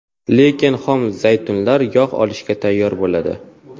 Lekin xom zaytunlar yog‘ olishga tayyor bo‘ladi.